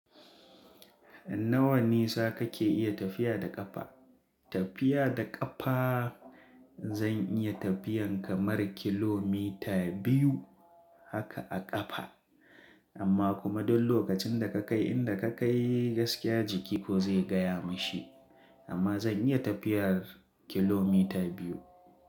Nawa nisa kake iya tafiya da ƙafa? Tafiya da ƙafa zan iya tafiyan kamar kilomita biyu haka a ƙafa. Amma kuma don lokacin da ka kai inda ka kai gaskiya jiki ko zai gaya mishi. Amma zan iya tafiyar kilomita biyu.